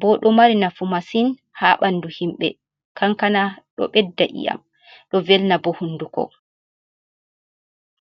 boɗo mari nafu masin ha ɓandu himɓe, kankana ɗo ɓedda iyam do velna bo hunduko.